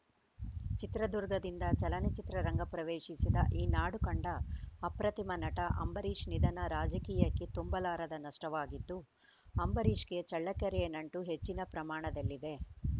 ಚಿತ್ರದುರ್ಗದಿಂದ ಚಲನಚಿತ್ರ ರಂಗಪ್ರವೇಶಿಸಿದ ಈ ನಾಡು ಕಂಡ ಅಪ್ರತಿಮ ನಟ ಅಂಬರೀಶ್‌ ನಿಧನ ರಾಜಕೀಯಕ್ಕೆ ತುಂಬಲಾರದ ನಷ್ಟವಾಗಿದ್ದು ಅಂಬರೀಶ್‌ಗೆ ಚಳ್ಳಕೆರೆಯ ನಂಟು ಹೆಚ್ಚಿನ ಪ್ರಮಾಣದಲ್ಲಿದೆ